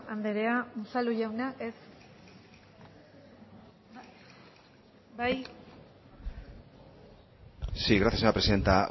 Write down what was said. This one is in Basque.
andrea unzalu jauna ez bai sí gracias señora presidenta